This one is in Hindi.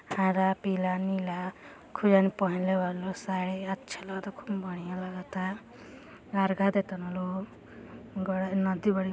हरा पिला नीला खूब जाने पहेल वाला लोग साड़ी अच्छा लग ता खूब बढ़िया लगता। अर्घा देत तन लोग ग नदी बड़ी --